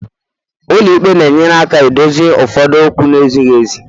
ụlọ ikpe na-enyere aka dozie ụfọdụ okwu na-ezighị ezi